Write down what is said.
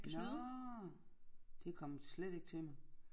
Nåh det kom slet ikke til mig